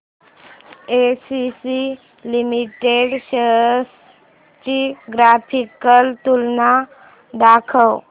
ACC limited shares ची graphical तुलना दाखव